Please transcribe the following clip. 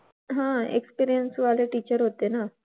हां experienced वाले teacher होते ना.